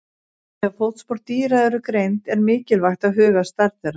Þegar fótspor dýra eru greind er mikilvægt að huga að stærð þeirra.